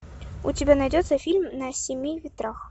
у тебя найдется фильм на семи ветрах